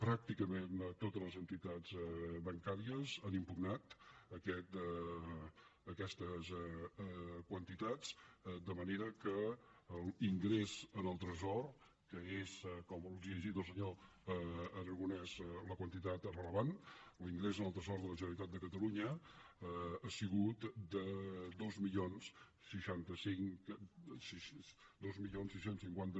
pràcticament totes les entitats bancàries han impugnat aquestes quantitats de manera que l’ingrés en el tresor que com els ha llegit el senyor aragonès la quantitat és rellevant l’ingrés en el tresor de la generalitat de catalunya ha sigut de dos mil sis cents i cinquanta